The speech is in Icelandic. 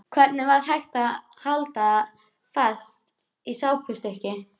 Hvernig var hægt að halda fast í svona sápustykki!